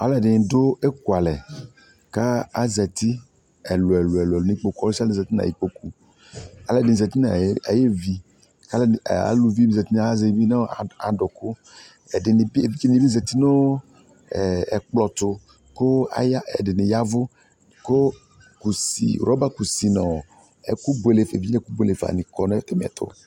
alɔdiny do ekualɛ k'azati ɛluɛ- ɛluɛ nu ikpoku alɔdiny zati ayo ʋi nu adoku ɛɖiniby zati nu ɛkplɔto ko ɛdini ya vu ku rɔba kusi nɔ evidƶe ɛku bluele fa ni kɔ na ata miɛ to